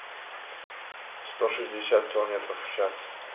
сто шестьдесят километров в час